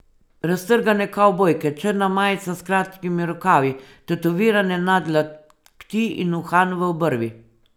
Raztrgane kavbojke, črna majica s kratkimi rokavi, tetovirane nadlakti in uhan v obrvi.